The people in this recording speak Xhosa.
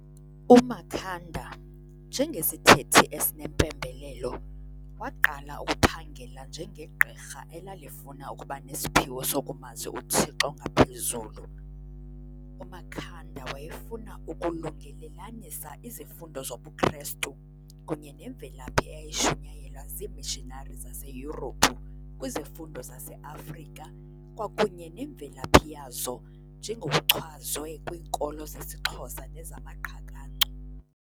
UMakhanda, njengesithethi esinempembelelo, waqala ukuphangela njenge gqirha elalifuna ukuba nesiphiwo sokumazi uThixo ngaphezulu. UMakhanda wayefuna ukulungelelanisa izifundo zobuKrestu kunye nemvelaphi eyayishunyayelwa ziimishinari zeseYurophu kwizifundo zase-Afrika kwakunye nemvelaphi yazo njengokuchazwe kwiinkolo zesiXhosa nezamaQhakancu.